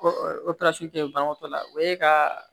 banabaatɔ la o ye ka